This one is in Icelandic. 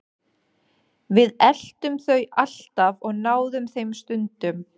Við eltum þau alltaf og náðum þeim stundum.